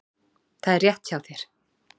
Það er rétt hjá þér.